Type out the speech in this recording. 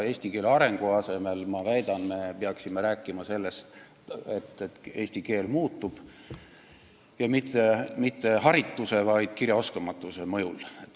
Eesti keele arendamise asemel me peaksime rääkima sellest, et eesti keel muutub, ja mitte harituse, vaid kirjaoskamatuse mõjul.